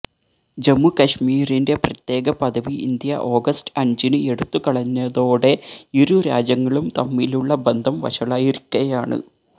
ജമ്മുകശ്മീരിന്റെ പ്രത്യേകപദവി India August അഞ്ചിന് എടുത്തുകളഞ്ഞതോടെ ഇരുരാജ്യങ്ങളും തമ്മിലുള്ള ബന്ധം വഷളായിരിക്കയാണ്